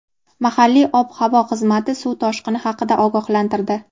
Mahalliy ob-havo xizmati suv toshqini haqida ogohlantirdi.